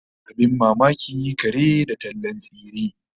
Abin mamaki, kare da tallan tsire!